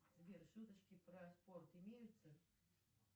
сбер шуточки про спорт имеются